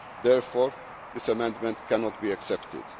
issues. Therefore, this amendment cannot